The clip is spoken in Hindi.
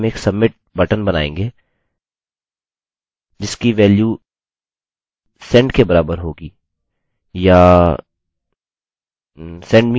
और यहाँ नीचे हम एक submit बटन बनाएँगे जिसकी वेल्यू send के बराबर होगी